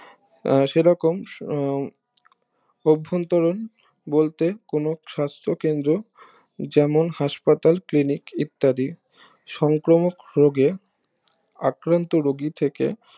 আহ সেরকম উম অভন্তরণ বলতে কোনো সাস্থ কেন্দ্র যেমন হাসপাতাল ক্লিনিক ইত্যাদি সংক্রমক রোগে আক্রান্ত রুগী থেকে